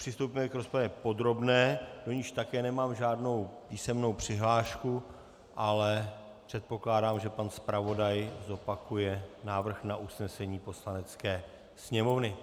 Přistoupíme k rozpravě podrobné, do níž také nemám žádnou písemnou přihlášku, ale předpokládám, že pan zpravodaj zopakuje návrh na usnesení Poslanecké sněmovny.